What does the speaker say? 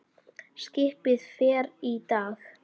Skipið fer í dag.